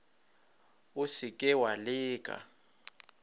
o se ke wa leka